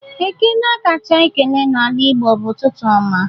Ekele akacha akele n'ala igbo bụ "ụtụtụ ọma!"